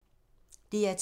DR2